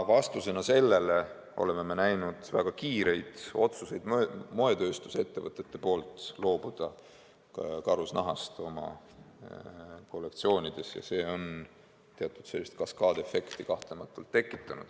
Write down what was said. Me oleme näinud moetööstusettevõtete väga kiireid otsuseid loobuda karusnahast oma kollektsioonides ja see on kahtlemata tekitanud teatud kaskaadefekti.